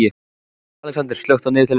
Alexander, slökktu á niðurteljaranum.